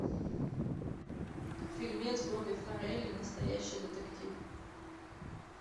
фильмец бобби фаррелли настоящий детектив